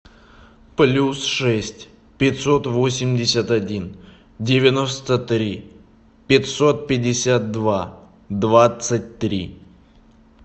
плюс шесть пятьсот восемьдесят один девяносто три пятьсот пятьдесят два двадцать три